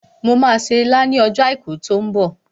Mo máa se ilá ní ọjọ́ àìkú tí ó ń bọ̀